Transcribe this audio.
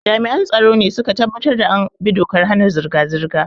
Jami'an tsaro ne su ka tabbatar da an bi dokar hana zirga-zirga.